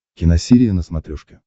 киносерия на смотрешке